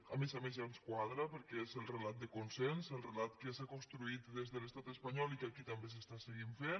a més a més ja ens quadra perquè és el relat de consens el relat que s’ha construït des de l’estat espanyol i que aquí també se segueix fent